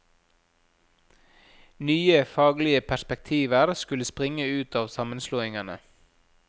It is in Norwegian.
Nye faglige perspektiver skulle springe ut av sammenslåingene.